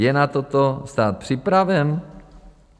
Je na toto stát připraven?